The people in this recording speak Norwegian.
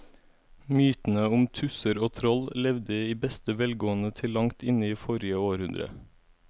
Mytene om tusser og troll levde i beste velgående til langt inn i forrige århundre.